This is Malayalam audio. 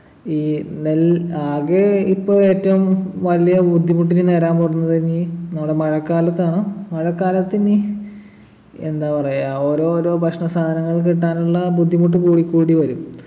ഈ നെൽ ആകെ ഇപ്പൊ ഏറ്റവും വലിയ ബുദ്ധിമുട്ടില് നേരാൻ പോവുന്നതിനി നമ്മുടെ മഴക്കാലത്താണ് മഴക്കാലത്ത് ഇനി എന്താ പറയാ ഓരോരോ ഭക്ഷണസാധനങ്ങൾ കിട്ടാനുള്ള ബുദ്ധിമുട്ട് കൂടിക്കൂടി വരും